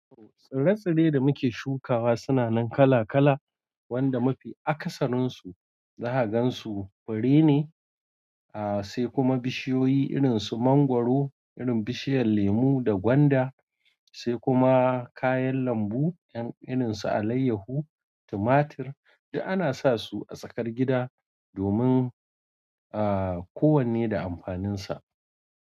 Tsire tsire da mu ke shukawa suna nan kala kala wanda mafi akasarin su zaka gansu bare ne. A sai kuma bishiyoyi irin su mangwaro, irin bishiyar lemu da gwanda, sai kuma kayan lambu 'yan irin su alayyahu, tumatir da ana sa su a tsakar gida domin, a ko wanne da amfanin sa.